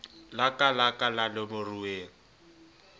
laka la ka la nomoruweng